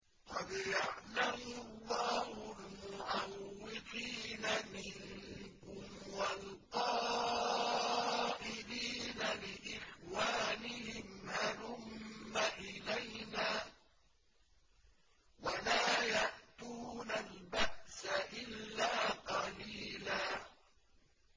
۞ قَدْ يَعْلَمُ اللَّهُ الْمُعَوِّقِينَ مِنكُمْ وَالْقَائِلِينَ لِإِخْوَانِهِمْ هَلُمَّ إِلَيْنَا ۖ وَلَا يَأْتُونَ الْبَأْسَ إِلَّا قَلِيلًا